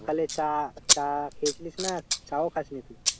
সকালে চা চা খেয়েছিলিস না চা ও খাসনি তুই?